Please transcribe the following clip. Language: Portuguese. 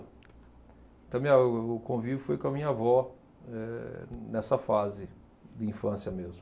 Então minha o o convívio foi com a minha avó eh nessa fase de infância mesmo.